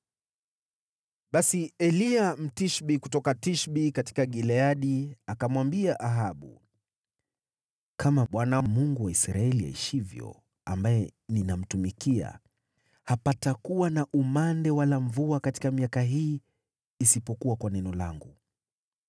Basi Eliya, Mtishbi kutoka Tishbi katika Gileadi, akamwambia Ahabu, “Kama Bwana , Mungu wa Israeli, aishivyo, ambaye ninamtumikia, hapatakuwa na umande wala mvua katika miaka hii, isipokuwa kwa neno langu.”